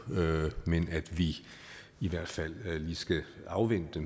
men at vi i hvert fald lige skal afvente